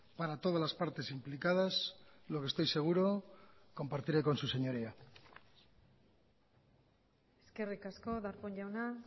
para todas las partes implicadas lo que estoy seguro compartiré con su señoría eskerrik asko darpón jauna